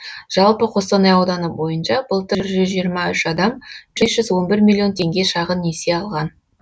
жалпы қостанай ауданы бойынша былтыр жүз жиырма үш адам бес жүз он бір миллион теңге шағын несие алған